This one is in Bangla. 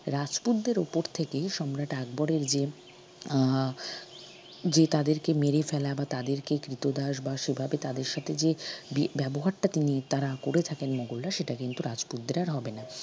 রাজপুতদের উপর থেকে সম্রাট আকবরের যে আহ যে তাদেরকে মেরে ফেলা বা তাদেরকে কৃতদাস বা সেভাবে তাদের সাথে যে বিব্যবহারটা তিনি তারা করে থাকেন মোগলরা সেটা কিন্তু রাজপুতদের আর হবে না